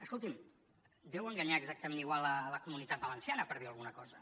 escolti’m deu enganyar exactament igual la comunitat valenciana per dir alguna cosa